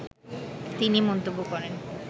তিনি মন্তব্য করেন